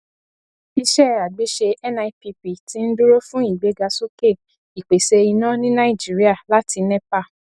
iṣẹ àgbéṣe nipp ti ń dúró fún ìgbéga sókè ìpèsè iná ní nàìjíríà láti nepa